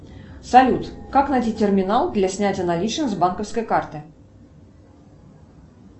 салют как найти терминал для снятия наличных с банковской карты